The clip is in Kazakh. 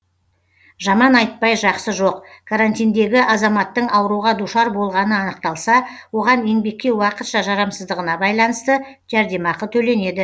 жаман айтпай жақсы жоқ карантиндегі азаматтың ауруға душар болғаны анықталса оған еңбекке уақытша жарамсыздығына байланысты жәрдемақы төленеді